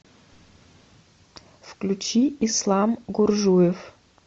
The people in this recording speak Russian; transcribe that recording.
включи ислам гуржуев